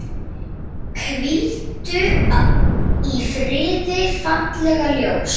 Hvíldu í friði, fallega ljós.